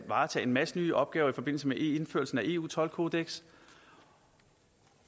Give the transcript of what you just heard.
varetage en masse nye opgaver i forbindelse med indførelsen af eu toldkodeksen